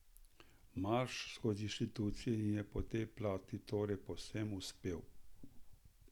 Marš skozi inštitucije jim je po tej plati torej povsem uspel.